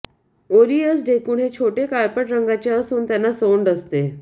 ओरीअस ढेकुण हे छोटे काळपट रंगाचे असून त्यांना सोंड असते